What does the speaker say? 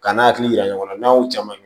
Ka n'a hakili yira ɲɔgɔn na n'a y'o caman ye